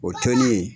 O tɔnden